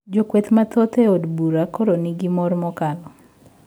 Jo kweth mathoth e od bura koro ni gi mor mokalo